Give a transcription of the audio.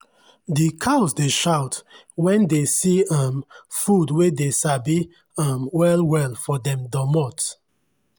i dey dust bodi for my goat when dey come everyday 4rm place wey goat plenty. wey goat plenty.